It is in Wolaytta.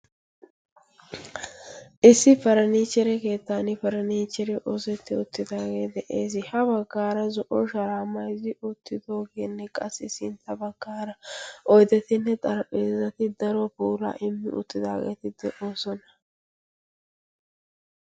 issi paraniihchere keettan paraniichchere oosetti oottidaagee de'ees. ha baggaara zo'o sharaa mayzzi oottidoogeenne qassi sintta baggaara oidetinne xarapphiezati daro puura immi uttidaageetid deoosona.